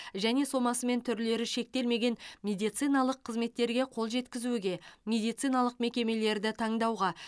және сомасы мен түрлері шектелмеген медициналық қызметтерге қол жеткізуге медициналық мекемелерді таңдауға